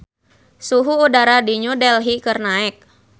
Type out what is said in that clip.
Suhu udara di New Delhi keur naek